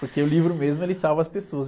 Porque o livro mesmo, ele salva as pessoas.